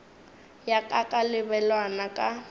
ya ka ka lebelwana ka